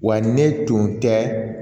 Wa ne tun tɛ